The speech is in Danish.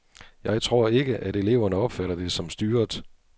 Jeg tror ikke, at eleverne opfatter det som styret.